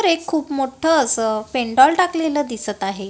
खूप मोठं असं पेंडॉल टाकलेलं दिसतं आहे.